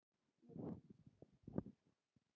Mér fannst ég vera fyrir.